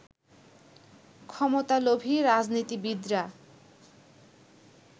ক্ষমতালোভী রাজনীতিবিদরা